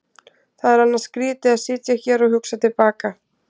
Það er annars skrýtið að sitja hér og hugsa til baka.